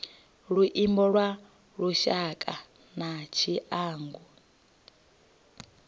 luimbo lwa lushaka na tshiangu